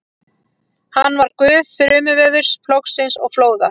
Hann var guð þrumuveðurs, plógsins og flóða.